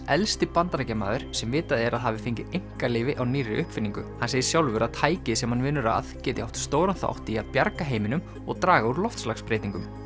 elsti Bandaríkjamaður sem vitað er að hafi fengið einkaleyfi á nýrri uppfinningu hann segir sjálfur að tækið sem hann vinnur að geti átt stóran þátt í að bjarga heiminum og draga úr loftslagsbreytingum